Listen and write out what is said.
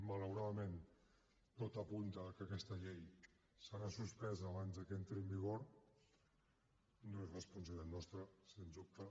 malauradament tot apunta a que aquesta llei serà suspesa abans de que entri en vigor no és responsabilitat nostra sens dubte